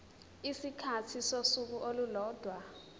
isikhathi sosuku olulodwa